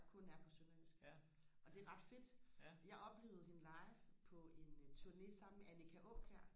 der kun er på sønderjysk og det er ret fedt jeg oplevede hende live på en turné sammen med Annika Aakjær